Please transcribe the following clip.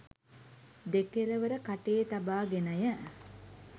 දෙකළවර කටේ තබා ගෙනය.